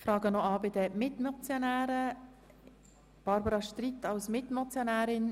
Ich frage noch bei den Mitmotionären an, ob sie das Wort wünschen?